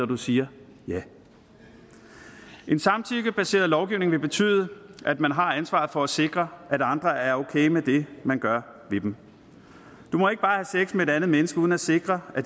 du siger ja en samtykkebaseret lovgivning vil betyde at man har ansvaret for at sikre at andre er okay med det man gør ved dem du må ikke bare have sex med et andet menneske uden at sikre at